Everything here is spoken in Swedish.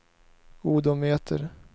odometer